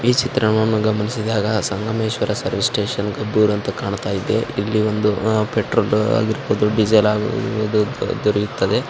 ಈ ಚಿತ್ರವನ್ನು ಗಮನಿಸಿದಾಗ ಸಂಗಮೇಶ್ವರ ಸರ್ವಿಸ್ ಸ್ಟೇಷನ್ ಕಬ್ಬುರು ಅಂತ ಕಾಣಿಸ್ತಿದೆ ಇಲ್ಲಿ ಒಂದು ಪೆಟ್ರೋಲ್ ಆಗಿರ್ಬಹುದು ಡೀಸೆಲ್ ಆಗಿರ್ಬಹುದು ದೊರೆಯುತ್ತದೆ.